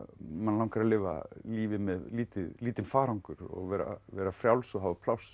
mann langar að lifa lífi með lítinn lítinn farangur og vera vera frjáls og hafa pláss